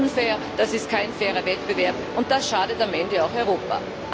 Das ist unfair, das ist kein fairer Wettbewerb, und das schadet am Ende auch Europa.